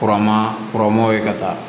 Kuran ma kɔrɔnmow ye ka taa